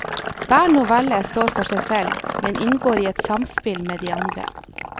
Hver novelle står for seg selv, men inngår i et samspill med de andre.